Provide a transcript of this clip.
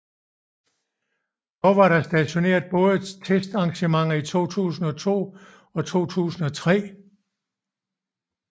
Dog var der på stadionet både testarrangementer i 2002 og i 2003